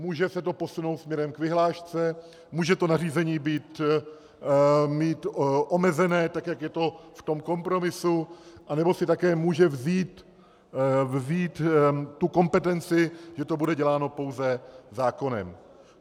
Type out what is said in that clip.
Může se to posunout směrem k vyhlášce, může to nařízení mít omezené, tak jak je to v tom kompromisu, anebo si také může vzít tu kompetenci, že to bude děláno pouze zákonem.